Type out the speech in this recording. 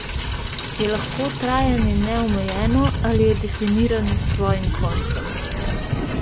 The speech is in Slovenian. Je lahko trajanje neomejeno ali je definirano s svojim koncem?